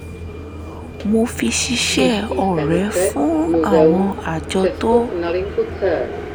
mo fi ṣíṣe ore fún àwọn àjọ tó